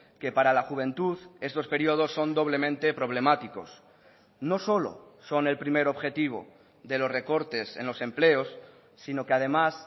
que para la juventud estos periodos son doblemente problemáticos no solo son el primer objetivo de los recortes en los empleos sino que además